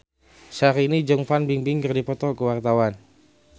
Syahrini jeung Fan Bingbing keur dipoto ku wartawan